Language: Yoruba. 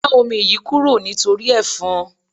Gba omi yìí kúrò nítorí efon.